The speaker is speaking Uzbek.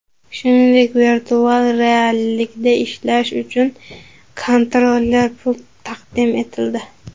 Shuningdek, virtual reallikda ishlash uchun kontroller-pult taqdim etildi.